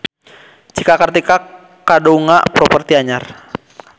Cika Kartika kagungan properti anyar